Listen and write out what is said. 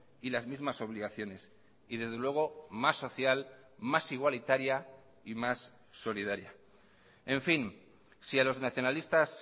y las mismas obligaciones y desde luego más social más igualitaria y más solidaria en fin si a los nacionalistas